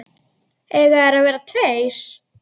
Eiga þeir að vera tveir?